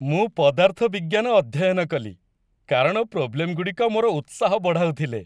ମୁଁ ପଦାର୍ଥ ବିଜ୍ଞାନ ଅଧ୍ୟୟନ କଲି, କାରଣ ପ୍ରୋବ୍ଲେମଗୁଡ଼ିକ ମୋର ଉତ୍ସାହ ବଢ଼ାଉଥିଲେ।